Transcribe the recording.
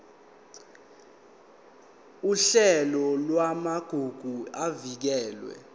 uhlelo lwamagugu avikelwe